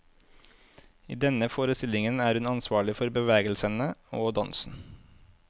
I denne forestillingen er hun ansvarlig for bevegelsene og dansen.